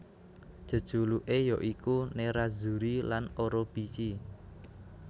Jejuluké ya iku Nerrazzuri lan Orobici